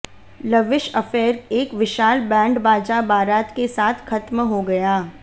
lavish affair एक विशाल band बाजा बारात के साथ खत्म हो गया